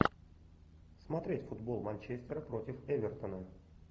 смотреть футбол манчестер против эвертона